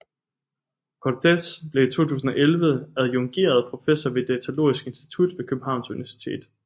Cortes blev i 2011 adjungeret professor ved Datalogisk Institut ved Københavns Universitet